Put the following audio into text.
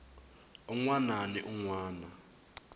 un wana ni un wana